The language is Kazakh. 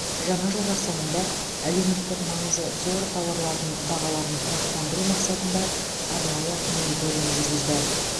жаңа жыл қарсаңында әлеуметтік маңызы зор тауарлардың бағаларын тұрақтандыру мақсатында арнайы мониторинг жүргізді